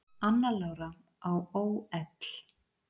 Anna Lára á ÓL